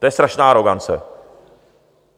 To je strašná arogance.